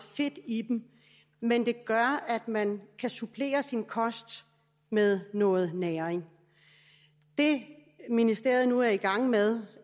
fedt i dem men de gør at man kan supplere sin kost med noget næring det ministeriet nu er i gang med